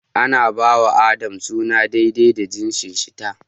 Ana ba wa da adam suna daidai da jinsin shi/ ta.